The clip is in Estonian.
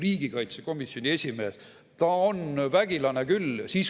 " Riigikaitsekomisjoni esimees – ta on vägilane küll.